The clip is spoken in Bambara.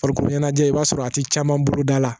Farikolo ɲɛnajɛ i b'a sɔrɔ a tɛ caman bolo da la